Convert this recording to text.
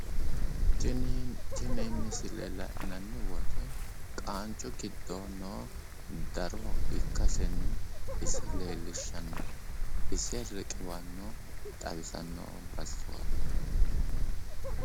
Tini misile la'nanni woyte qaancu giddo no daro ikkasenni ise leellishanno ise riqiwanno xawisanno basuwaati.